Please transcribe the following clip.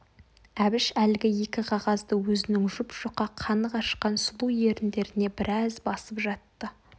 әбіш әлгі екі қағазды өзінің жұп-жұқа қаны қашқан сұлу еріндеріне біраз басып жатты